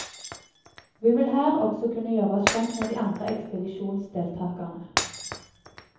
Vi vil her også kunne gjøre oss kjent med de andre ekspedisjonsdeltakerne.